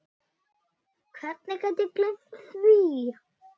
Hvernig gat ég gleymt því?